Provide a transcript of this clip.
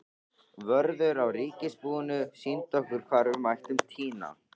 Vörður á ríkisbúinu sýndi okkur hvar við mættum tína.